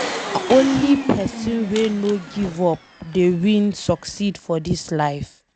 Nah only pesin wey no give up dey win succeed for dis life